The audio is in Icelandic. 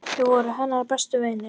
Þau voru hennar bestu vinir.